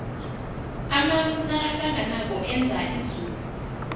amafu nakahlanganako enza izulu